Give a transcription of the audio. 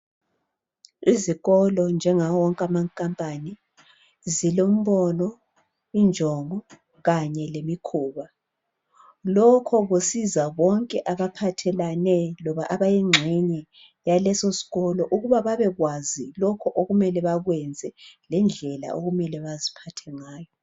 Izikolo njengawo wonke amakhampani zilembono ,injongo kanye lemikhuba .Lokho kusiza bonke abaphathelane loba abayingxenye yaleso sikolo ukuba babekwazi lokho okumele bakwenze lendlela okumele baziphathe ngayo.